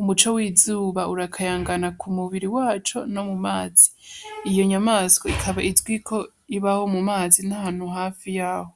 ,Umuco w'izuba urakayangana ku mu biri waco no mu mazi iyo nyamaswa ikaba izwi ko ibaho mu mazi no hafi yaho.